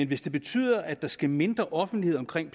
hvis det betyder at der skal mindre offentlighed omkring